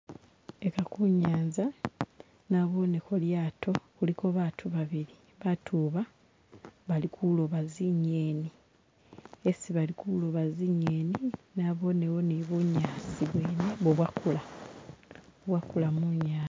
Eha kunyanza naboneko lyato kuliko bantu babili, bantu ba bali kuloba zinyeni, hesi bali kuloba zinyeni nabowo ni bunyasi bwene bubwakulo, bwakula munyanza